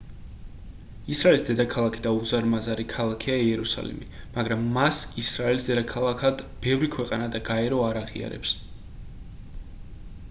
ისრაელის დედაქალაქი და უზარმაზარი ქალაქია იერუსალიმი მაგრამ მას ისრაელის დედაქალაქად ბევრი ქვეყანა და გაერო არ აღიარებს